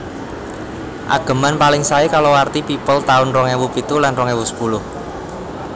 Ageman paling saé kalawarti People taun rong ewu pitu lan rong ewu sepuluh